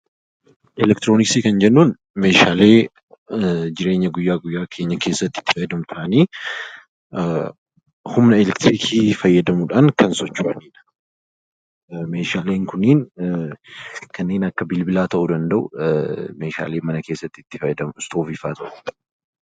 Elektirooniksii kan jennuun meeshaalee jireenya guyyaa guyaa keenya keessatti itti fayyadamnu ta'anii, humna elektiriikii fayyadamuu dhaan kan socho'an. Meeshaaleen kunniin kanneen akka bilbilaa ta'uu danda'u, meeshaalee mana keessatti itti fayyadamnus ta'uu danda'u.